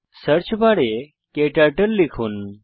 search বারে ক্টার্টল লিখুন